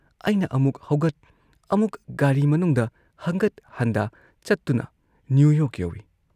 ꯑꯩꯅ ꯑꯃꯨꯛ ꯍꯧꯒꯠ, ꯑꯃꯨꯛ ꯒꯥꯔꯤ ꯃꯅꯨꯡꯗ ꯍꯪꯒꯠ ꯍꯟꯗꯥ ꯆꯠꯇꯨꯅ ꯅ꯭ꯌꯨ ꯌꯣꯔꯛ ꯌꯧꯢ꯫